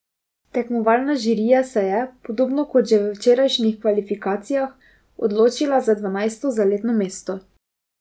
Tekmovalna žirija se je, podobno kot že v včerajšnjih kvalifikacijah, odločila za dvanajsto zaletno mesto.